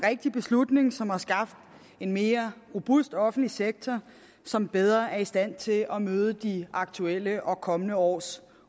rigtig beslutning som har skabt en mere robust offentlig sektor som bedre er i stand til at møde de aktuelle og de kommende års